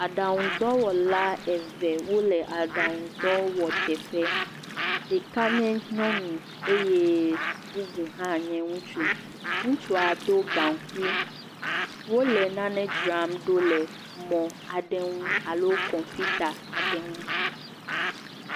Aɖaŋudɔwɔla wo le aɖaŋu dɔwɔ teƒe, ɖeka nye nyɔnu eye bubu hã nye ŋutsu. Ŋutsua do gankui. Wole nane dzra ɖo le mɔ aɖe ŋu alo kɔmpita aɖe ŋu.